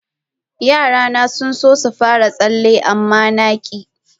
Yarana sun so su fara tsalle, amma na ki.